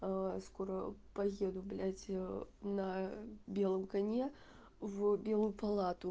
скоро поеду блядь на белом коне в белую палату